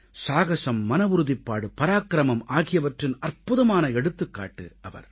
சாகஸம் மனவுறுதிப்பாடு பராக்கிரமம் ஆகியவற்றின் அற்புதமான எடுத்துக்காட்டு அவர்